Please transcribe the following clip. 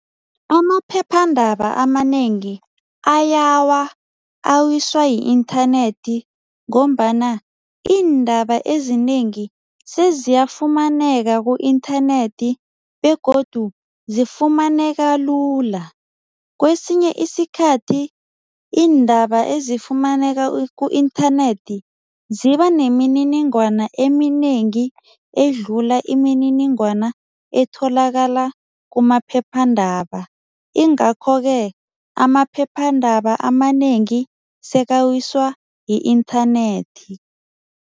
Amaphephandaba amanengi ayawa awiswa yi-inthanethi ngombana iindaba ezinengi seziyafumaneka ku-inthanethi begodu zifumaneka lula. Kwesinye isikhathi iindaba ezifumaneka ku-inthanethi zibanemininingwana eminengi edlula imininingwana etholakala kumaphephandaba ingakho-ke amaphephandaba amanengi sekawiswa yi-inthanethi.